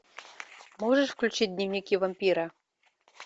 можешь включить дневники вампира